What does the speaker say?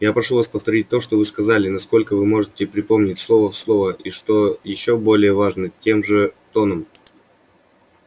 я прошу вас повторить то что вы сказали насколько вы можете припомнить слово в слово и что ещё более важно тем же тоном